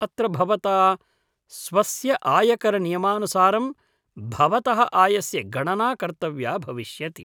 अत्र भवता स्वस्य आयकरनियमानुसारं भवतः आयस्य गणना कर्तव्या भविष्यति।